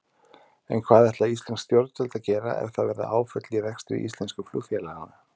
En hvað ætla íslensk stjórnvöld að gera ef það verða áföll í rekstri íslensku flugfélaganna?